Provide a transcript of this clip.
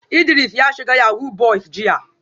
Idris ya shiga yahoo boys jiya